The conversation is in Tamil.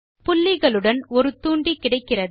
புள்ளிகளுடன் ஒரு தூண்டி கிடைக்கிறது